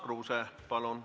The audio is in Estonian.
Urmas Kruuse, palun!